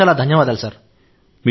చాలా చాలా ధన్యవాదాలు సార్